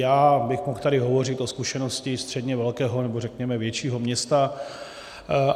Já bych mohl tady hovořit o zkušenosti středně velkého, nebo řekněme většího města.